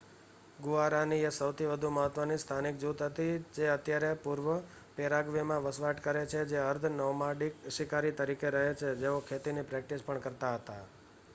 Guarani એ સૌથી વધુ મહત્ત્વની સ્થાનિક જૂથ હતી જે અત્યારે પૂર્વપેરાગ્વેમાં વસવાટ કરે છે જે અર્ધ-નોમાડિક શિકારી તરીકે રહે છે જેઓ ખેતીની પ્રેક્ટિસ પણ કરતા હતા